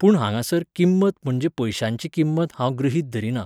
पूण हांगासर किंमत म्हणजे पयशांची किंमत हांव गृहीत धरिना.